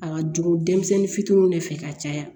A ka jugu denmisɛnnin fitininw de fɛ ka caya